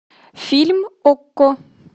фильм окко